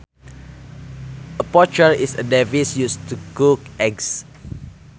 A poacher is a device used to cook eggs